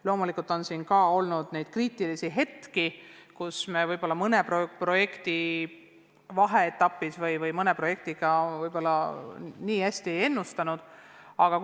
Loomulikult on olnud kriitilisi hetki mõne projekti vaheetapil, mõne projekti käekäiku väga hästi ei osatud ennustada.